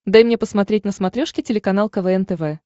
дай мне посмотреть на смотрешке телеканал квн тв